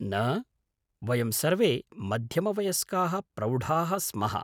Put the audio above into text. न, वयं सर्वे मध्यमवयस्काः प्रौढाः स्मः।